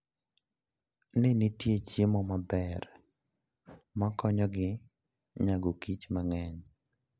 Ne ni nitie chiemo maber ma konyogi nyago kich mang'eny.